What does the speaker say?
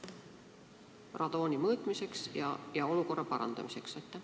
Kas sealgi tuleb mõõta radoonisisaldust, et vajaduse korral olukorda parandada?